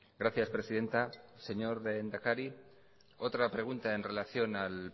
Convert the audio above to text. gracias presidenta señor lehendakari otra pregunta en relación al